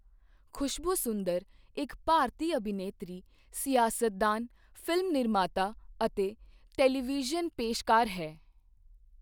ਖੁਸ਼ਬੂ ਸੁੰਦਰ ਇੱਕ ਭਾਰਤੀ ਅਭਿਨੇਤਰੀ, ਸਿਆਸਤਦਾਨ, ਫ਼ਿਲਮ ਨਿਰਮਾਤਾ ਅਤੇ ਟੈਲੀਵਿਜ਼ਨ ਪੇਸ਼ਕਾਰ ਹੈ।